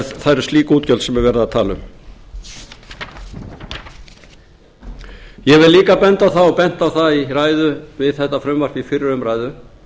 það eru slík útgjöld sem verið er að tala um ég vil líka benda á það og hef bent á það í ræðu við þetta frumvarp í fyrri umræðu